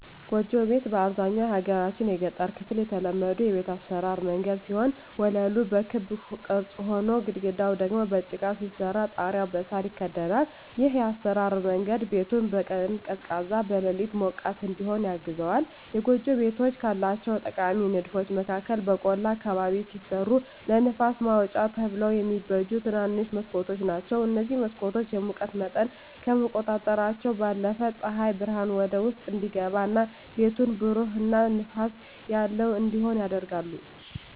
ጎጆ ቤት በአብዛኛው የሀገራችን የገጠር ክፍል የተለመዱ የቤት አሰራር መንገድ ሲሆን ወለሉ በክብ ቅርጽ ሆኖ፣ ግድግዳው ደግሞ በጭቃ ሲሰራ ጣሪያው በሳር ይከደናል። ይህ የአሰራር መንገድ ቤቱን በቀን ቀዝቃዛ፣ በሌሊት ሞቃት እዲሆን ያግዘዋል። የጎጆ ቤቶች ካላቸው ጠቃሚ ንድፎች መካከል በቆላ አካባቢ ሲሰሩ ለንፋስ ማውጫ ተብለው የሚበጁ ትንንሽ መስኮቶች ናቸዉ። እነዚህ መስኮቶች የሙቀት መጠንን ከመቆጣጠራቸው ባለፈም ፀሐይ ብርሃን ወደ ውስጥ እንዲገባ እና ቤቱን ብሩህ እና ንፋስ ያለው እንዲሆን ያደርጋሉ።